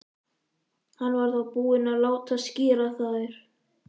Hann var þá búinn að láta skíra þær.